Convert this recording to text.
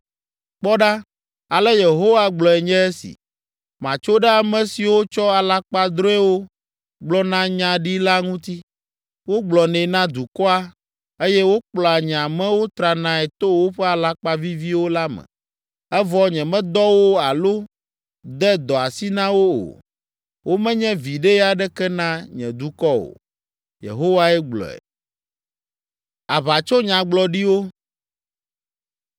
Kpɔ ɖa,” ale Yehowa gblɔe nye esi: “Matso ɖe ame siwo tsɔ alakpadrɔ̃ewo gblɔa nya ɖi la ŋuti. Wogblɔnɛ na dukɔa, eye wokplɔa nye amewo tranae to woƒe alakpa vivivo la me, evɔ nyemedɔ wo alo de dɔ asi na wo o. Womenye viɖe aɖeke na nye dukɔ o,” Yehowae gblɔe.